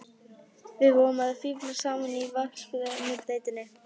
Við vorum að fíflast saman í vatnsrennibrautinni!